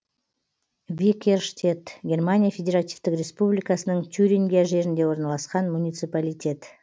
викерштедт германия федеративтік республикасының тюрингия жерінде орналасқан муниципалитет